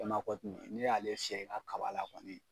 n'i y'ale fiyɛ i ka kaba la kɔni